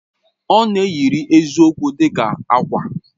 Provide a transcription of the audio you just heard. Ọ na-eyiri eziokwu dị ka ákwà.